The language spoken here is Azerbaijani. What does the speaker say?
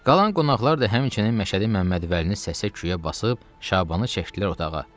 Qalan qonaqlar da həmçinin Məşədi Məmmədvəlini səsə küyə basıb Şabanı çəkdilər otağa.